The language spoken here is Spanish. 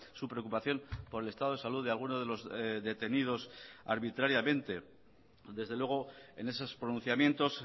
su preocupación por el estado de salud de alguno de los detenidos arbitrariamente desde luego en esos pronunciamientos